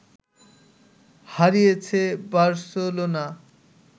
হারিয়েছে বার্সোলোনা